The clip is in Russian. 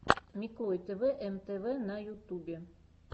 миклой тэвэ эм тэ вэ на ютубе